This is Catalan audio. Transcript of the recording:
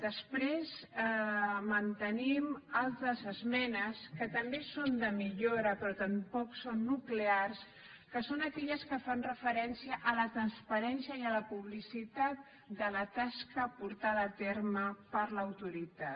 després mantenim altres esmenes que també són de millora però tampoc són nuclears que són aquelles que fan referència a la transparència i a la publicitat de la tasca portada a terme per l’autoritat